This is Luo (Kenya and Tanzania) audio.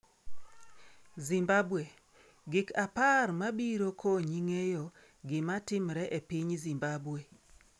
Zimbabwe: Gik 10 mabiro konyi ng'eyo gima timre e piny Zimbabwe